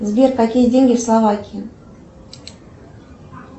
сбер какие деньги в словакии